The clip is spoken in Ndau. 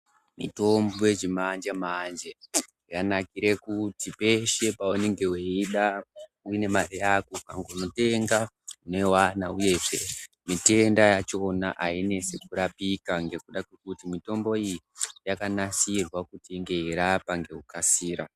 Mitombo yechi manje manje yanakire kuti peshe paunenge weiida une mari yako ukanongo tenga unoiwana uyezve mitenda yachona ainesi kurapika ngekuda kwekuti mitombo iyi yakanasirwa kuti inge yeirapa ngeku kasira.